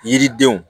Yiridenw